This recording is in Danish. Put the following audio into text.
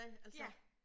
Ja